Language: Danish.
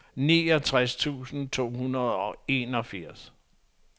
niogtres tusind to hundrede og enogfirs